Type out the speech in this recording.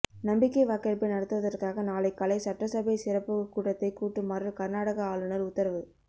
நம்பிக்கை வாக்கெடுப்பு நடத்துவதற்காக நாளை காலை சட்டசபை சிறப்பு கூட்டத்தை கூட்டுமாறு கர்நாடகா ஆளுநர் உத்தரவு